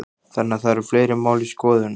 Þannig að það eru fleiri mál í skoðun?